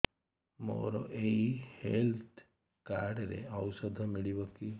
ମୋର ଏଇ health card ରେ ଔଷଧ ମିଳିବ କି